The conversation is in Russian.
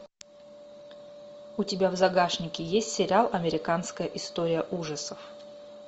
у тебя в загашнике есть сериал американская история ужасов